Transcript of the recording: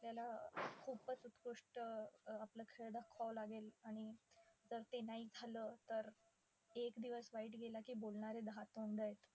आपल्याला खुपच उत्कुष्ट अं आपला खेळ दाखवावा लागेल. आणि जर ते नाही झालं तर, एक दिवस वाईट गेला की बोलणारे दहा तोंड आहेत.